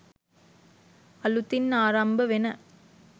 අලුතින් ආරම්භ වෙන